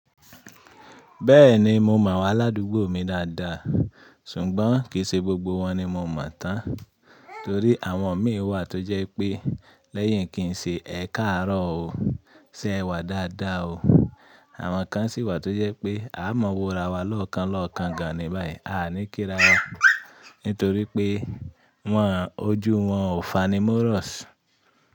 Bẹ́ẹ̀ni mo mọ àwọn aládùúgbò mi dáadáa, ṣùgbọ́n kì í ṣe gbogbo wọn ni mo mọ̀ tán torí àwọn mi wà tó jẹ́ pé lẹ́yìn kì í ṣe ẹ̀ káàárọ̀ ó ṣe ẹ̀ wà dáadáa o. Àwọn kan sì wà tó jẹ́ pé a mọ wòra wa lọ́ọ̀kan lọ́ọ̀kan gan ni báyìí a ní kí ra wa nítorí pé wọn ojú wọn ò fani mọ́rọ̀ṣ.